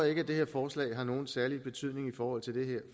ikke at det her forslag har nogen særlig betydning i forhold til det